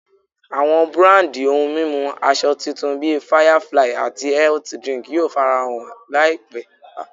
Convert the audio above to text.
Àwọn búrándi ohun mímu asọ titun bí Firefly ati health drink yóò farahàn láìpé